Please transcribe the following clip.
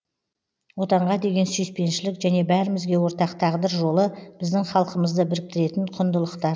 отанға деген сүйіспеншілік және бәрімізге ортақ тағдыр жолы біздің халқымызды біріктіретін құндылықтар